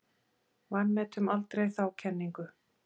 Vanmetum aldrei þá kenningu.